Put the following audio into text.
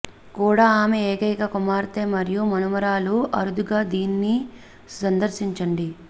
కూడా ఆమె ఏకైక కుమార్తె మరియు మనుమరాలు అరుదుగా దీన్ని సందర్శించండి